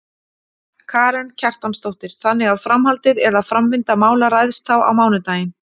Karen Kjartansdóttir: Þannig að framhaldið, eða framvinda mála ræðst þá á mánudaginn?